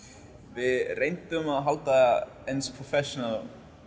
við reyndum að halda þessu